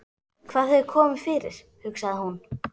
Hvað hefur komið fyrir, hugsaði hún.